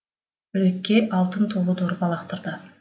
үлекке алтын толы дорба лақтырады